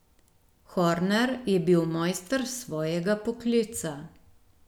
Horner je bil mojster svojega poklica.